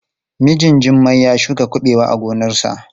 Mijin Jummai ya shuka kuɓewa a gonarsa.